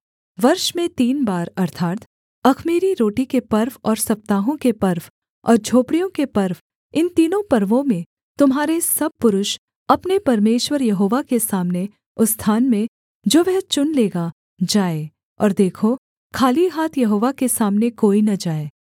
वर्ष में तीन बार अर्थात् अख़मीरी रोटी के पर्व और सप्ताहों के पर्व और झोपड़ियों के पर्व इन तीनों पर्वों में तुम्हारे सब पुरुष अपने परमेश्वर यहोवा के सामने उस स्थान में जो वह चुन लेगा जाएँ और देखो खाली हाथ यहोवा के सामने कोई न जाए